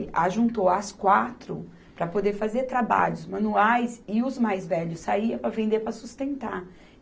Ajuntou as quatro para poder fazer trabalhos manuais e os mais velhos saíam para vender para sustentar.